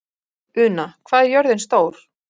Una, hvað er jörðin stór?